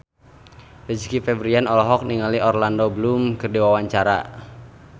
Rizky Febian olohok ningali Orlando Bloom keur diwawancara